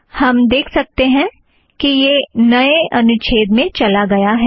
हम देख सकतें हैं कि यह नए अनुच्छेद में चला गया है